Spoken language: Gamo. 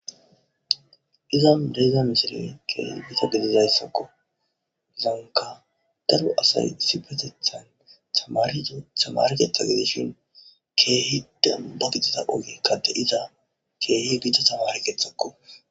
izan neiza misile keehi ita gedidayssakko gizanka daro asay sibetethan amario samariketha gedishin keehi dambagitida oge kade iza keehi gicda samarekethakko